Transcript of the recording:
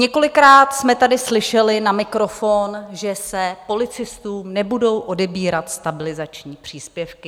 Několikrát jsme tady slyšeli na mikrofon, že se policistům nebudou odebírat stabilizační příspěvky.